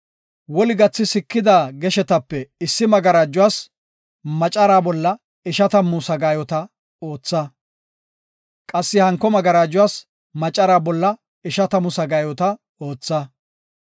Woli gathi sikida geshetape issi magarajuwas macara bolla ishatamu sagaayota ootha; qassi hanko magarajuwas macara bolla ishatamu sagaayota ootha.